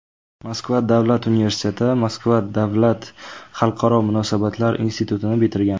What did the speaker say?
Moskva davlat universiteti, Moskva davlat xalqaro munosabatlar institutini bitirgan.